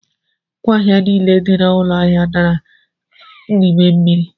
Ngwa ahịa niile dị n'ụgbọ ahụ dabara n'ime mmiri.